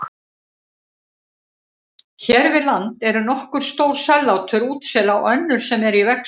Hér við land eru nokkur stór sellátur útsela og önnur sem eru í vexti.